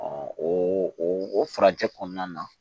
o o furanjɛ kɔnɔna na